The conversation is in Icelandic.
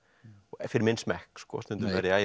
fyrir menn smekk sko stundum verð ég ægilega